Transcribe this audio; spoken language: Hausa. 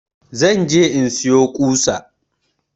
Zan je in siyo ƙusa